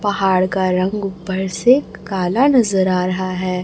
पहाड़ का रंग ऊपर से काला नजर आ रहा है।